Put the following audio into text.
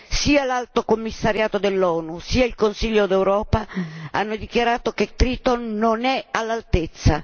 Sia l'Alto Commissariato dell'ONU sia il Consiglio d'Europa hanno dichiarato che Triton non è all'altezza.